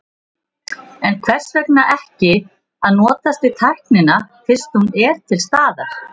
En hvers vegna ekki að notast við tæknina fyrst hún er til staðar?